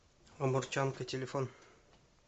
амурчанка телефон